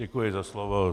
Děkuji za slovo.